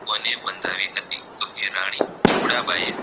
તો એ રાની ધ્રુડા બાઈ એ